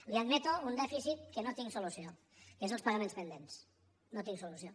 li admeto un dèficit que no hi tinc solució que és els pagaments pendents no hi tinc solució